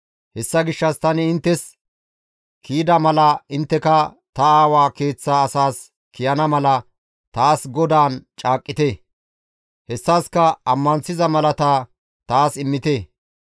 Hessa gishshas tani inttes kiyida mala intteka ta aawa keeththa asaas kiyana mala taas GODAAN caaqqite; hessaska ammanththiza malata taas immite.